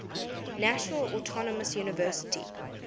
national autonomous university